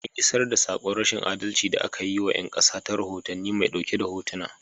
An iisar da saƙon rashin adalci da aka yi wa 'yan ƙasa ta rohotannin mai ɗauke da hotuna.